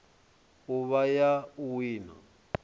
u vha ya u wina